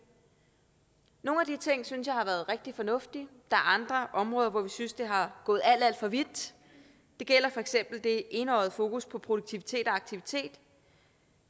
nogle af de ting synes jeg har været rigtig fornuftige mens er andre områder hvor vi synes det er gået alt alt for vidt det gælder for eksempel det enøjede fokus på produktivitet og aktivitet